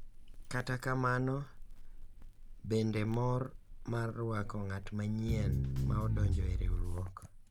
Kata kamano, bende mor mar rwako ng’at manyien ma odonjo e riwruok.